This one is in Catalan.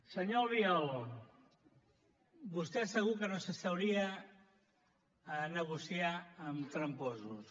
senyor albiol vostè segur que no s’asseuria a negociar amb tramposos